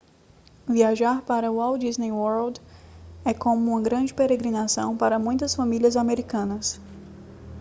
viajar para o walt disney world é como uma grande peregrinação para muitas famílias americanas